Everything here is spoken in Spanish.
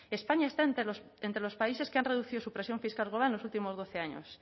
españa está entre los países que han reducido su presión fiscal global en los últimos doce años